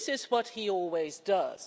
That is what he always does.